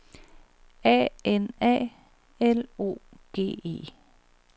A N A L O G E